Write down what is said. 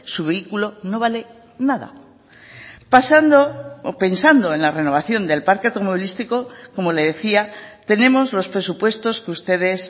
su vehículo no vale nada pasando o pensando en la renovación del parque automovilístico como le decía tenemos los presupuestos que ustedes